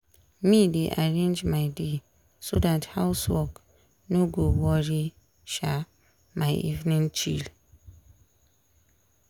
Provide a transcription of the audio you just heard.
me dey arrange my day so dat house work no go worry um my evening chill.